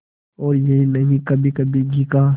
और यही नहीं कभीकभी घी का